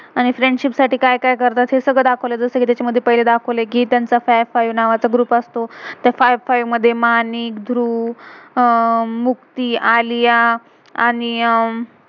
आणि friendship friendship साठी का्य का्य करतात हे सगळ दाखवलय. जसं कि पहिला तेच्या मधे दाखवलय कि तेंचा फाइ five नावाचा ग्रुप group असतो. तर फाइव फाइव fivefive मधे मानिक, ध्रुव, अह मुक्ती, आलिया आणि अं